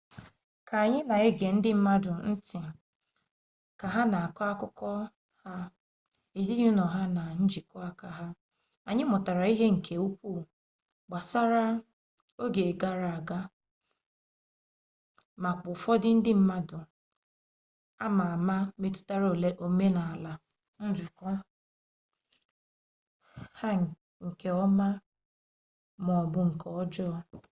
ka anyị na-ege ndị mmadụ nti ka ha na akọpụta akụkọ ha ezinụlọ ha na njikọ aka ha anyị mụtara ihe nke ukwu gbasara oge gara aga makwa ụfọdụ ndị mmadụ ama ama metụtara omenala nzukọ ahụ nke ọma maọbu nke ọjọọ